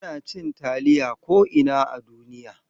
Ana cin taliya ko'ina a duniya.